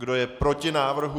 Kdo je proti návrhu?